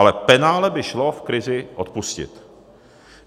Ale penále by šlo v krizi odpustit.